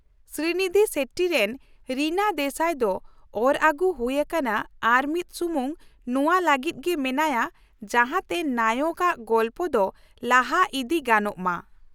ᱥᱨᱤᱱᱤᱫᱷᱤ ᱥᱮᱴᱷᱤᱨᱮᱱ ᱨᱤᱱᱟ ᱫᱮᱥᱟᱭ ᱫᱚ ᱚᱨ ᱟᱹᱜᱩ ᱦᱩᱭ ᱟᱠᱟᱱᱟ ᱟᱨ ᱢᱤᱫ ᱥᱩᱢᱩᱝ ᱱᱚᱶᱟ ᱞᱟᱹᱜᱤᱫ ᱜᱮ ᱢᱮᱱᱟᱭᱟ ᱡᱟᱦᱟᱸ ᱛᱮ ᱱᱟᱭᱚᱠ ᱟᱜ ᱜᱚᱞᱯᱚ ᱫᱚ ᱞᱟᱦᱟ ᱤᱫᱤ ᱜᱟᱱᱚᱜ ᱢᱟ ᱾